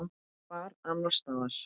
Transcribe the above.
Hvar annars staðar?